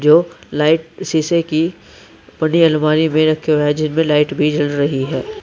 जो लाइट शीशे की बड़ी अलमारी में रखे हुए हैं जिसमें लाइट भी जल रही है।